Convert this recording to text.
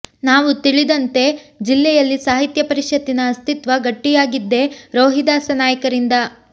ನಾವು ತಿಳಿದಂತೆ ಜಿಲ್ಲೆಯಲ್ಲಿ ಸಾಹಿತ್ಯ ಪರಿಷತ್ತಿನ ಅಸ್ತಿತ್ವ ಗಟ್ಟಿಯಾಗಿದ್ದೇ ರೋಹಿದಾಸ ನಾಯಕರಿಂದ